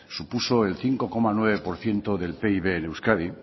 supuso el cinco coma nueve por ciento del pib en euskadi